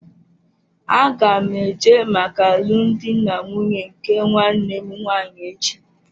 Aga m eje maka alụmdi na nwunye nke nwanne m nwaanyị echi